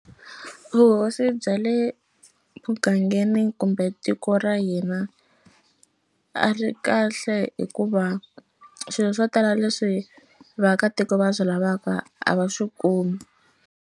Vuhosi bya le mugangeni kumbe tiko ra hina a ri kahle hikuva swilo swo tala leswi vaakatiko va swi lavaka a va swi kumi.